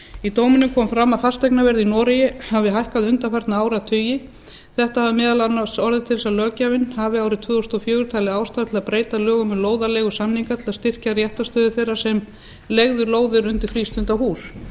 í dóminum kom fram að fasteignaverð í noregi hafði hækkað undanfarna áratugi þetta hafði meðal annars orðið til þess að löggjafinn hafi árið tvö þúsund og fjögur talið ástæðu til að breyta lögum um lóðaleigusamninga til að styrkja réttarstöðu þeirra sem leigðu lóðir undir frístundahús